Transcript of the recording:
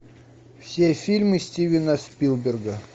все фильмы стивена спилберга